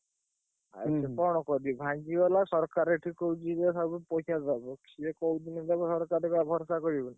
କଣ କରିବୁ ଭାଙ୍ଗି ଗଲା ସିଏ କୋଉଦିନ ଦବ ସରକାର ଟା ଉପରେ ଭରସା କରିବୁ।